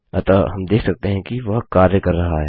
अतः हम देख सकते हैं कि वह कार्य कर रहा है